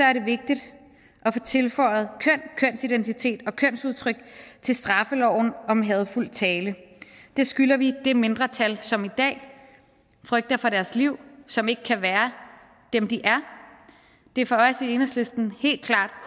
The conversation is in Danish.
er det vigtigt at få tilføjet køn kønsidentitet og kønsudtryk til straffeloven om hadefuld tale det skylder vi det mindretal som i dag frygter for deres liv som ikke kan være dem de er det er for os i enhedslisten helt klart